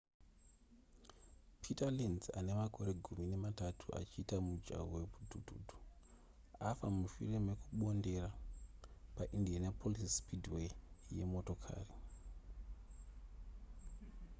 peter lenz ane makore gumi nematatu achiita mujaho hwemudhudhudhu afa mushure mekumbondera paindianapolis speedway yemotokari